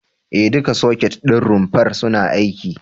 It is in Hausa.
E, duka soket ɗin rumfar suna aiki.